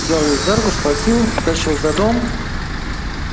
взял её за руку схватил потащил за дом